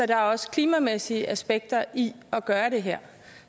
der er også klimamæssige aspekter i at gøre det her